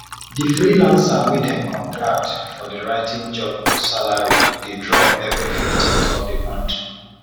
di freelancer wey dem contract for di writing job salary dey drop every 15th of di month